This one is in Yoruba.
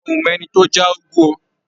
A ò mọ ẹni tó já úgú o.